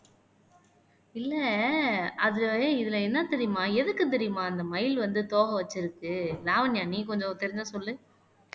இல்லை அது இதுல என்ன தெரியுமா எதுக்கு தெரியுமா அந்த மயில் வந்து தோகை வச்சிருக்கு லாவண்யா, நீ கொஞ்சம் தெரிஞ்சா சொல்லு